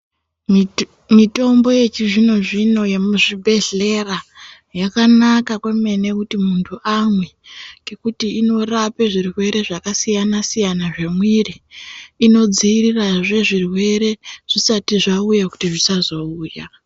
Mitombo yechizvino-zvino yemuzvibhedhlera yakanaka kwemene kuti munthu amwe, ngekuti inorape zvirwere zvakasiyana-siyana zvemwiri, inodziirirahe zvirwere zvisati zvauya kuti zvisazouya.